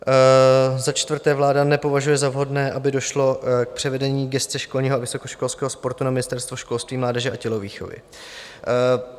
Za čtvrté, vláda nepovažuje za vhodné, aby došlo k převedení gesce školního a vysokoškolského sportu na Ministerstvo školství, mládeže a tělovýchovy.